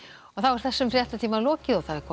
þessum fréttatíma er lokið og komið